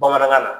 Bamanankan na